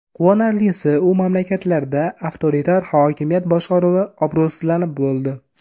Quvonarlisi, u mamlakatlarda avtoritar hokimiyat boshqaruvi obro‘sizlanib bo‘ldi.